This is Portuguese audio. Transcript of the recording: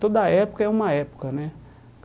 Toda época é uma época, né?